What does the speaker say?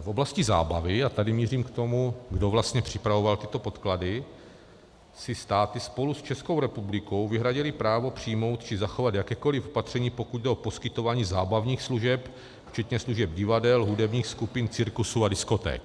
v oblasti zábavy - a tady mířím k tomu, kdo vlastně připravoval tyto podklady - si státy spolu s Českou republikou vyhradily právo přijmout či zachovat jakékoliv opatření, pokud jde o poskytování zábavních služeb včetně služeb divadel, hudebních skupin, cirkusů a diskoték.